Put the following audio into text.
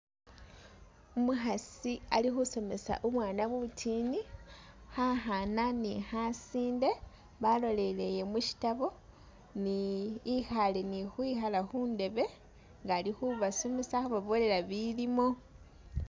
Umukhasi ali khusomesa mubwana butiini, khakhana ne khasinde , balolele musitabo ni ikhaale ni khukhwikhaala khundebe nga ali khubasomesa ali khubabolela ibilimo.